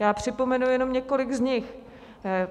Já připomenu jenom několik z nich.